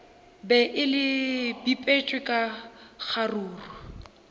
be le bipetšwe ka kgaruru